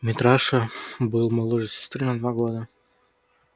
митраша был моложе сестры на два года